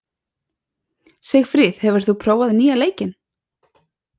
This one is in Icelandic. Sigfríð, hefur þú prófað nýja leikinn?